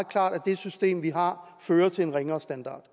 klart at det system vi har fører til en ringere standard